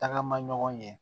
Tagama ɲɔgɔn ye